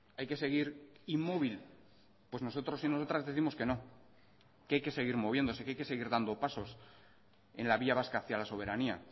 hay que seguir inmóvil pues nosotros y nosotras décimos que no que hay que seguir moviéndose que hay que seguir dando pasos en la vía vasca hacia la soberanía